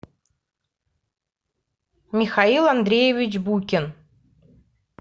михаил андреевич букин